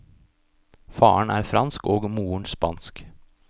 Faren er fransk og moren spansk.